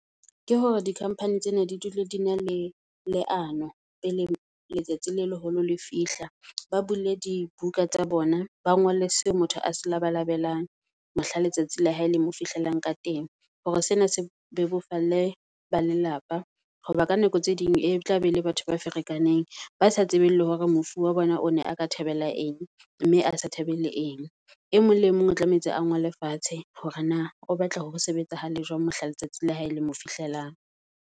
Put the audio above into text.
Ke hore di-company tsena di dule di na le leano pele letsatsi le leholo le fihla. Ba bule di buka tsa bona, ba ngolle seo motho a se labalabelang mohla letsatsi la hae le mo fihlelang ka teng. Hore sena se bebofalle ba lelapa, hoba ka nako tse ding e tla be e le batho ba ferekaneng. Ba sa tsebeng le hore mofu wa bona o ne a ka thabela eng mme a sa thabele eng. E mong le mong o tlamehetse a ngole fatshe hore na o batla ho sebetsahale jwang mohla letsatsi la hae le mo fihlelang.